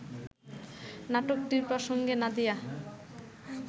নাটকটি প্রসঙ্গে নাদিয়া